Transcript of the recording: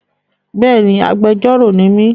Bẹ́ẹ̀ni, agbejórò ni mí